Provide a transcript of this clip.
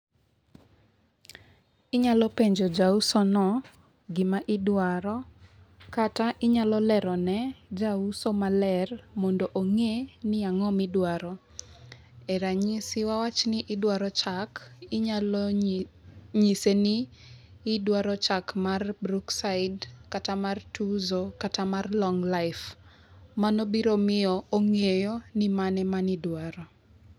Inyalo penjo jauso no gima idwaro kata inyalo lero ne jauso maler mondo ong'e ni ang'o midwaro. Ranyisi wawachni idwaro chak inyalo nyise ni idwaro chak mar brookside kata mar tuzo kata mar long life. Mano biro miyo ong'eyo ni mane mani dwaro.